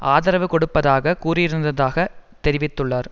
ஆதரவு கொடுப்பதாகக் கூறியிருந்ததாக தெரிவித்துள்ளார்